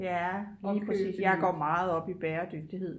jeg går meget op i bæredygtighed